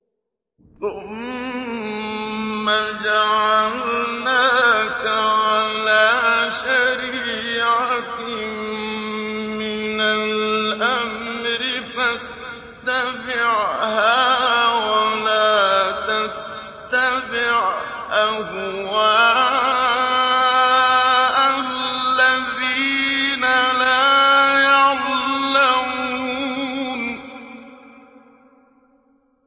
ثُمَّ جَعَلْنَاكَ عَلَىٰ شَرِيعَةٍ مِّنَ الْأَمْرِ فَاتَّبِعْهَا وَلَا تَتَّبِعْ أَهْوَاءَ الَّذِينَ لَا يَعْلَمُونَ